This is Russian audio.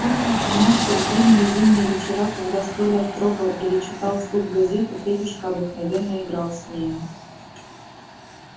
вспомнила она что в длинные зимние вечера когда столяр строгал или читал вслух газету федюшка обыкновенно играл с нею